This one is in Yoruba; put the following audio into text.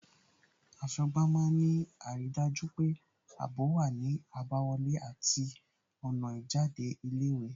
Aṣọ́gbà má ń ní àrídájú pé ààbò wá ní àbáwọlé àti ọ̀nà ìjáde ilé ìwé